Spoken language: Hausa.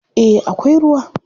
Eh akwai ruwa.